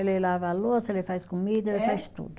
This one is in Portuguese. Ele lava a louça, ele faz comida, ele faz tudo.